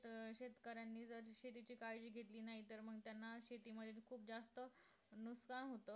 अं शेतकऱ्यांनी जर शेतीची काळजी घेतली नाही तर मग त्यांना शेतीमुळे खूप जास्त नुकसान होत तर